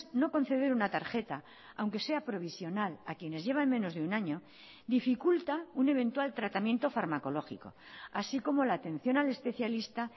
no conceder una tarjeta aunque sea provisional a quienes llevan menos de un año dificulta un eventual tratamiento farmacológico así como la atención al especialista